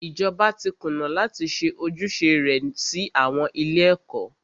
Ìjọba tí kùnà láti ṣe ojúṣe rẹ sí àwọn ilé ẹ̀kọ́.